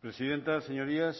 presidenta señorías